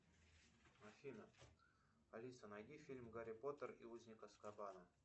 афина алиса найди фильм гарри поттер и узник азкабана